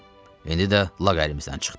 İndi də lağ əlimizdən çıxdı.